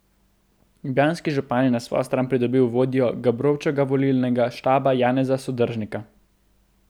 Ljubljanski župan je na svojo stran pridobil vodjo Gabrovčevega volilnega štaba Janeza Sodržnika.